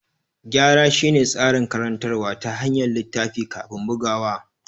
Gyara shine tsarin karantawa ta hanyar littafi kafin bugawa.